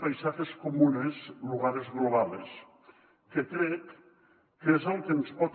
paisajes comunes lugares globales que crec que és el que ens pot